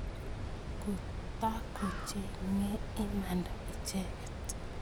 Kotakocheng'e imanda icheket